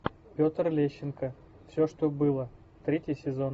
петр лещенко все что было третий сезон